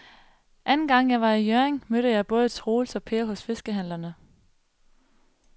Anden gang jeg var i Hjørring, mødte jeg både Troels og Per hos fiskehandlerne.